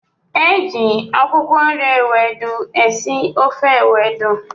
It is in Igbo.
Eji akwụkwọ nri ewedu esị ofe ewedu.